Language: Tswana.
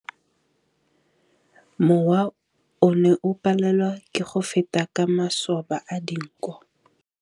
Mowa o ne o palelwa ke go feta ka masoba a dinko.